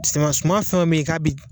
Siman suman fɛn fɛn be ye k'a bi